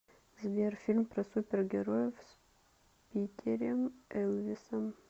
сбер фильм про супер героев с питерем элвисом